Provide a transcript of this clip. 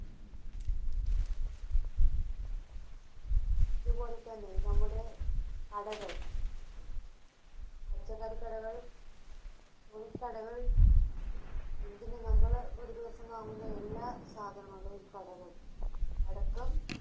അതുപോലെതന്നെ നമ്മുടെ കടകൾ പച്ചക്കറിക്കടകൾ, തുണിക്കടകൾ എന്തിനു നമ്മൾ ഒരുദിവസം വാങ്ങുന്ന എല്ലാ സാധനങ്ങളുടെയും കടകൾ അടക്കം